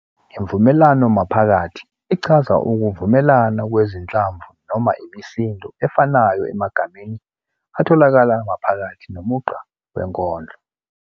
Imvumelwano-maphakathi ichaza ukuvumelana kwezinhlamvu noma imisindo efanayo emagameni atholakala maphakathi nomugqa wenkondlo.